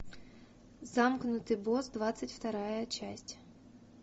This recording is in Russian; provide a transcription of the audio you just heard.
замкнутый босс двадцать вторая часть